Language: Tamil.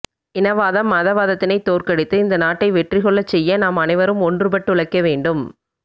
இனவாதம் மதவாதத்தினை தோற்கடித்து இந்த நாட்டை வெற்றிகொள்ளச் செய்ய நாம் அனைவரும் ஒன்றுபட்டுழைக்க வேண்டும்